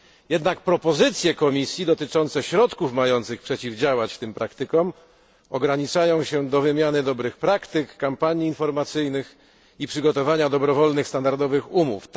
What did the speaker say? Jednak propozycje Komisji dotyczące środków mających przeciwdziałać tym praktykom ograniczają się do wymiany dobrych praktyk, kampanii informacyjnych i przygotowania dobrowolnych standardowych umów.